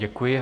Děkuji.